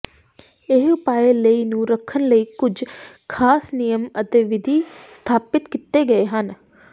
ਇਹ ਉਪਾਅ ਲਈ ਨੂੰ ਰੱਖਣ ਲਈ ਕੁਝ ਖਾਸ ਨਿਯਮ ਅਤੇ ਵਿਧੀ ਸਥਾਪਿਤ ਕੀਤੇ ਗਏ ਹਨ